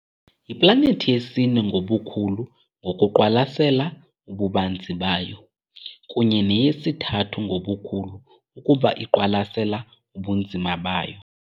Yiplanethi yesine ngobukhulu, ngokuqwalasela ububanzi bayo, kunye neyesithathu ngobukhulu ukuba iqwalasela ubunzima bayo.